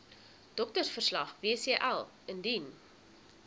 doktersverslag wcl indien